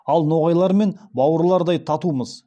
ал ноғайлармен бауырлардай татумыз